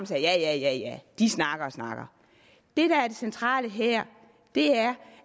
sagde ja ja ja ja de snakker og snakker det der er det centrale her er